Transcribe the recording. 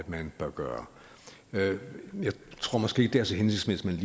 man bør gøre jeg tror måske ikke det er så hensigtsmæssigt